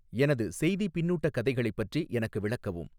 எனது செய்தி பின்னூட்ட கதைகளைப் பற்றி எனக்கு விளக்கவும்